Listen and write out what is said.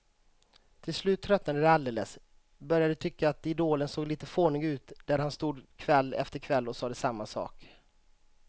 Till slut tröttnade de alldeles, började tycka att idolen såg lite fånig ut där han stod kväll efter kväll och sade samma sak.